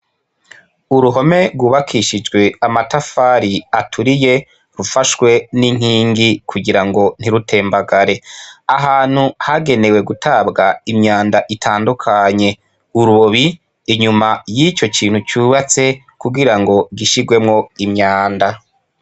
uruhome rwubakishijwe amatafari aturiye rufashwe n'inkingi kugirango ntirutembagare ahantu hagenewe gutabwa imyanda itandukanye urubobi inyuma y'ico kintu cyubatse kugirango gishirwemo imyanda